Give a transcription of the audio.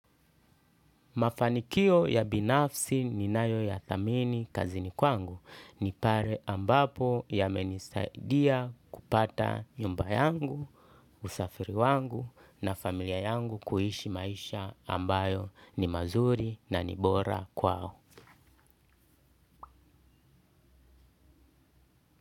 Mafanikio ya binafsi ninayoyathamini kazini kwangu ni pale ambapo yamenisaidia kupata nyumba yangu, usafiri wangu na familia yangu kuishi maisha ambayo ni mazuri na ni bora kwao.